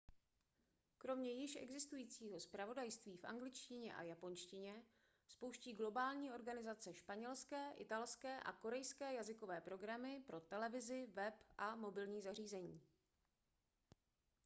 kromě již existujícího zpravodajství v angličtině a japonštině spouští globální organizace španělské italské a korejské jazykové programy pro televizi web a mobilní zařízení